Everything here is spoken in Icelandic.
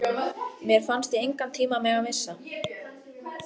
Mér fannst ég engan tíma mega missa.